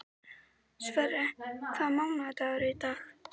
Sverre, hvaða mánaðardagur er í dag?